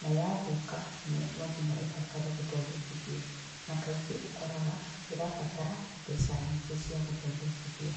na ya thũka no nginya ĩbatare gũthondekithio na kaingĩ ũkũroga nĩ rabatara mbeca nyingĩ cia gũthondekithia.